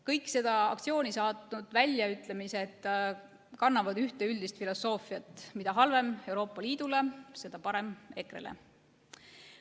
Kõik seda aktsiooni saatnud väljaütlemised kannavad ühte üldist filosoofiat: mida halvem Euroopa Liidule, seda parem EKRE-le.